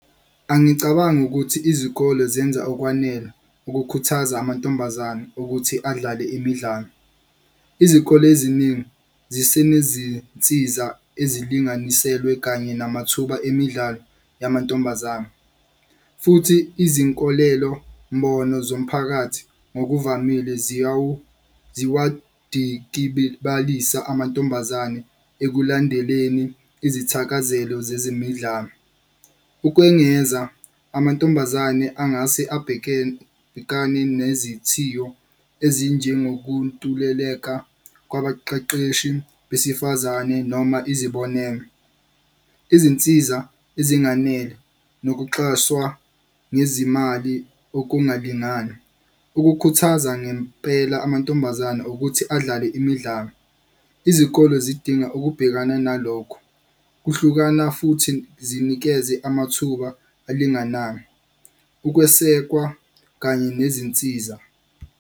Angicabangi ukuthi izikole zenza okwanele ukukhuthaza amantombazane ukuthi adlale imidlalo. Izikole eziningi zisenezinsiza ezilinganiselwe kanye namathuba emidlalo yamantombazane. Futhi izinkolelombono zomphakathi ngokuvamile amantombazane ekulandeleni izithakazelo zezemidlalo. Ukwengeza, amantombazane angase nezithiyo ezinjengokuntuleleka kwabaqeqeshi besifazane noma izibonelelo. Izinsiza ezinganele nokuxaswa ngezimali okungalingani, ukukhuthaza ngempela amantombazane ukuthi adlale imidlalo. Izikole zidinga ukubhekana nalokho kuhlukana futhi zinikeze amathuba alinganayo, ukwesekwa, kanye nezinsiza.